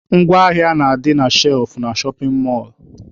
Ngwa ahịa na-adị na shelfụ na shọpin mọlụ..